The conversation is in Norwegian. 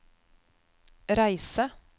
reise